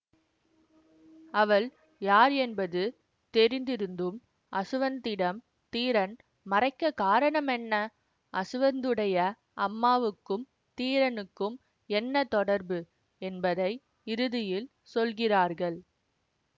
அவள் யார் என்பது தெரிந்திருந்தும் அசுவந்திடம் தீரன் மறைக்க காரணம் என்ன அசுவந்துடைய அம்மாவுக்கும் தீரனுக்கும் என்ன தொடர்பு என்பதை இறுதியில் சொல்கிறார்கள்